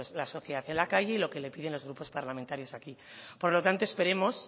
la sociedad en la calle y lo que le piden los grupos parlamentarios aquí por lo tanto esperemos